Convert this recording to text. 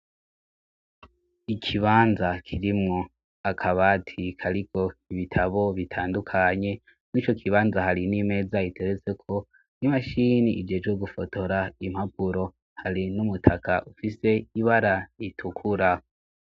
ikibanza kirimwo akabati kariko ibitabo bitandukanye n'icyo kibanza hari n'imeza iteretse ko n'imashini ijejwe gufotora impapuro hari n'umutaka ufise ibara ritukura